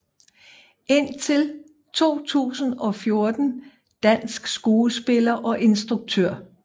Indtil 2014 dansk skuespiller og instruktør